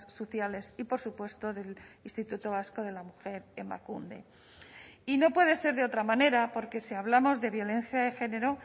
sociales y por supuesto del instituto vasco de la mujer emakunde y no puede ser de otra manera porque si hablamos de violencia de género